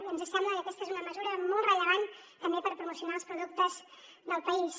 i ens sembla que aquesta és una mesura molt rellevant també per promocionar els productes del país